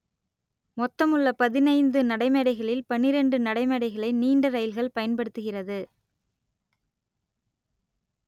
மொத்தமுள்ள பதினைந்து நடைமேடைகளில் பன்னிரண்டு நடைமேடைகளை நீண்ட இரயில்கள் பயன்படுத்துகிறது